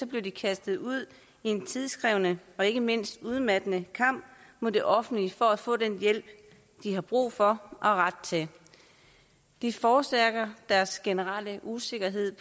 bliver de kastet ud i en tidskrævende og ikke mindst udmattende kamp mod det offentlige for at få den hjælp de har brug for og ret til det forstærker deres generelle usikkerhed